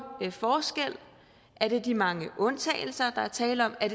forskel er det de mange undtagelser der er tale om er